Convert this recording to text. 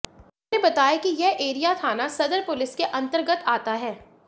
उन्होंने बताया कि वह एरिया थाना सदर पुलिस के अंतर्गत आता है